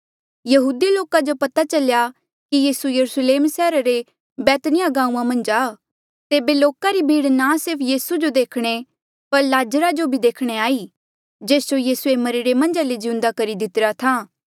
यहूदी लोका जो पता चल्या कि यीसू यरुस्लेम सैहरा रे बैतनियाह गांऊँआं मन्झ आ तेबे लोका री भीड़ ना सिर्फ यीसू जो देखणे पर लाज़रा जो बी देखणे आई जेस जो यीसूए मरिरे मन्झा ले जिउंदा करी दितिरा था